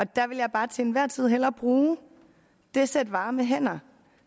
der vil jeg bare til enhver tid hellere bruge det sæt varme hænder